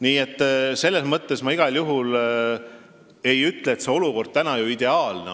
Nii et ma igal juhul ei ütle, et olukord on praegu ideaalne.